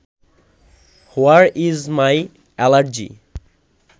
where is my allergy